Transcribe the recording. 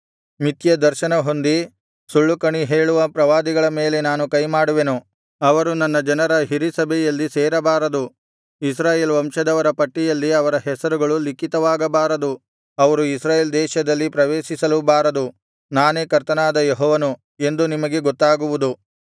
ಮಿಥ್ಯ ದರ್ಶನಹೊಂದಿ ಸುಳ್ಳು ಕಣಿ ಹೇಳುವ ಪ್ರವಾದಿಗಳ ಮೇಲೆ ನಾನು ಕೈಮಾಡುವೆನು ಅವರು ನನ್ನ ಜನರ ಹಿರೀಸಭೆಯಲ್ಲಿ ಸೇರಬಾರದು ಇಸ್ರಾಯೇಲ್ ವಂಶದವರ ಪಟ್ಟಿಯಲ್ಲಿ ಅವರ ಹೆಸರುಗಳು ಲಿಖಿತವಾಗಬಾರದು ಅವರು ಇಸ್ರಾಯೇಲ್ ದೇಶದಲ್ಲಿ ಪ್ರವೇಶಿಸಲೂಬಾರದು ನಾನೇ ಕರ್ತನಾದ ಯೆಹೋವನು ಎಂದು ನಿಮಗೆ ಗೊತ್ತಾಗುವುದು